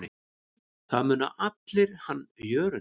Það muna allir hann Jörund.